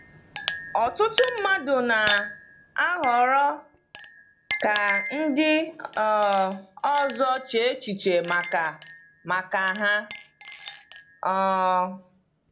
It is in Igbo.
Ọtụtụ mmadụ na-ahọrọ ka ndị um ọzọ chee echiche maka maka ha. um